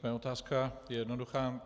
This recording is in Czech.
Moje otázka je jednoduchá.